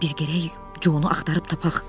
Biz gərək Jonu axtarıb tapaq.